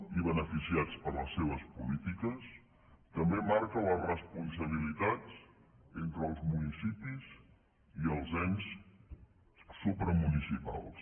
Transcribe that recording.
i beneficiats per les seves polítiques també marca les responsabilitats entre els municipis i els ens supramunicipals